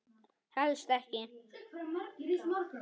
Helst ekki.